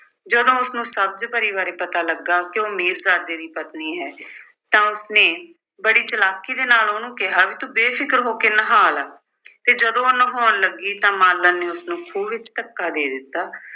ਜਦੋਂ ਉਸਨੂੰ ਸਬਜ਼ ਪਰੀ ਬਾਰੇ ਪਤਾ ਲੱਗਾ ਕਿ ਉਹ ਮੀਰਜ਼ਾਦੇ ਦੀ ਪਤਨੀ ਹੈ ਤਾਂ ਉਸਨੇ ਬੜੀ ਚਾਲਾਕੀ ਦੇ ਨਾਲ ਉਹਨੂੰ ਕਿਹਾ ਵੀ ਤੂੰ ਬੇਫਿਕਰ ਹੋ ਕੇ ਨਹਾ ਲੈ ਤੇ ਜਦੋਂ ਉਹ ਨਹਾਉਣ ਲੱਗੀ ਤਾਂ ਮਾਲਣ ਨੇ ਉਸਨੂੰ ਖੂਹ ਵਿੱਚ ਧੱਕਾ ਦੇ ਦਿੱਤਾ